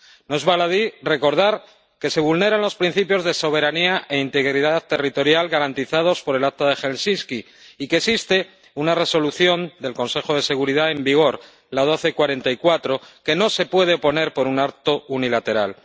No es baladí recordar que se vulneran los principios de soberanía e integridad territorial garantizados por el Acta de Helsinki y que existe una Resolución del Consejo de Seguridad, la 1244, que no se puede poner por un acto unilateral.